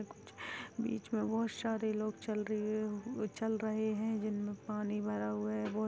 बीच में बहुत सारे लोग चल रहे चल रहे हैं जिनमें पानी भरा हुआ है बहुत।